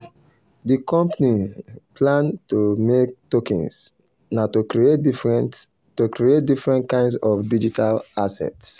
the company um plan um to make tokens na to create different to create different kinds of digital assets.